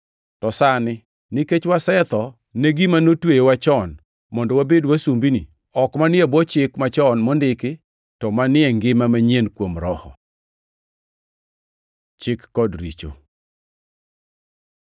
To sani, nikech wasetho ne gima notweyowa chon, mondo wabed wasumbini, ok manie bwo chik machon mondiki, to manie ngima manyien kuom Roho. Chik kod richo